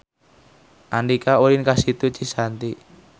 Andika ulin ka Situ Cisanti